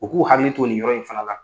U k'u hakili to nin yɔrɔ in fana la.